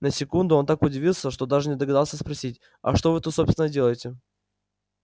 на секунду он так удивился что даже не догадался спросить а что вы тут собственно делаете